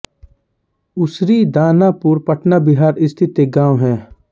उसरी दानापुर पटना बिहार स्थित एक गाँव है